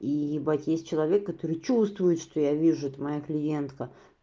ебать есть человек который чувствует что я вижу это моя клиентка